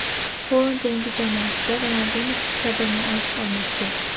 Xoland yangi jamoasida Ronalduniki kabi maosh olmoqchi.